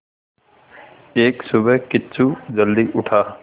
एक सुबह किच्चू जल्दी उठा